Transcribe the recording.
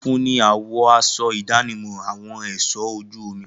Funfun ni àwọ̀ aṣọ ìdánimọ̀ àwọn ẹ̀ṣọ ojú omi.